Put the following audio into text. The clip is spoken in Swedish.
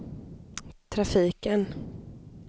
trafiken